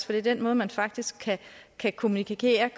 det er den måde man faktisk kan kommunikere